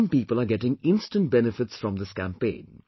Some people are getting instant benefits from this campaign